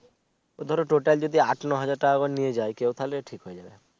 ধরো total যদি আট নয় হাজার টাকা করে নিয়ে যাই কেও তাইলে ঠিক হবে